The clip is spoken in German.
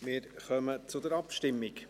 Wir kommen zur Abstimmung.